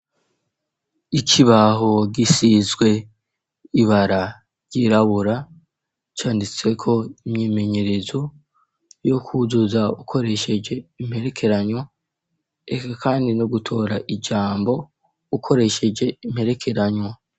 Ikibaho gisizwe ibara ryirabura canditseko imyimenyerezo yo kwuzuza ukoresheje imperekeranya, eka kandi no gutora ijambo ukoresheje imperekeranya.